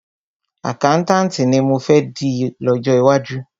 Àkáùntànti ni mọ fẹ́ di lọ́jọ́ iwájú.